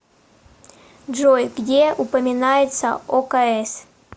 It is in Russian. джой где упоминается окс